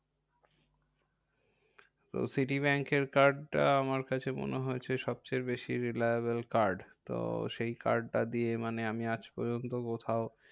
তো সিটি ব্যাঙ্কের card টা আমার কাছে মনে হয়েছে সবচেয়ে বেশি reliable card. তো সেই card টা দিয়ে মানে আমি আজপর্যন্ত কোথাও